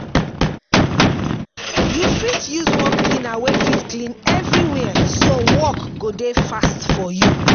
yu fit use one cleaner wey fit clean evriwia so work go dey fast for yu